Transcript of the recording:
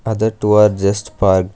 Other two are just parked.